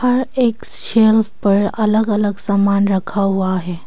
हर एक सेल्फ पर अलग अलग सामान रखा हुआ है।